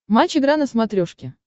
матч игра на смотрешке